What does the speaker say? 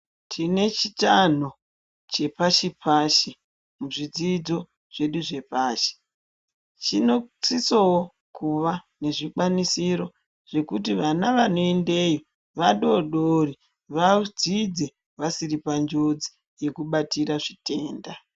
Tine chitanho chepashi-pashi muzvidzidzo zvedu zvepashi. Chinosisowo kuva nezvikwanisiro zvekuti vana vanoendeyo vadodori vadzidze vasiri panjodzi yekubatira zvitenda.